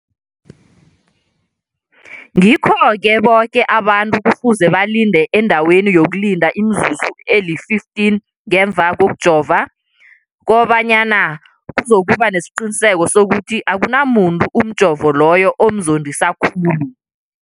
Ngikho-ke boke abantu kufuze balinde endaweni yokulinda imizuzu eli-15 ngemva kokujova, koba nyana kuzokuba nesiqiniseko sokuthi akunamuntu umjovo loyo omzondisa khulu.